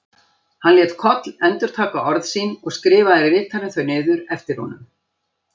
Hann lét Koll endurtaka orð sín og skrifaði ritarinn þau niður eftir honum.